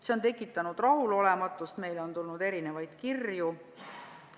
See on tekitanud rahulolematust, meile on tulnud mitmeid kirju.